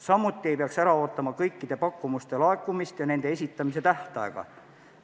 Samuti ei peaks ära ootama kõikide pakkumuste laekumist ja nende esitamise tähtaja lõppemist.